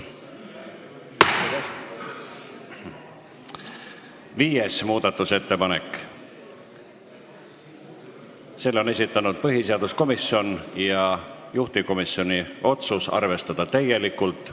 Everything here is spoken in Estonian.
Viienda muudatusettepaneku on esitanud põhiseaduskomisjon, juhtivkomisjoni otsus: arvestada täielikult.